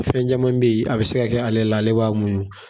Fɛn caman bɛ yen a bɛ se ka kɛ ale, ale ba munɲun.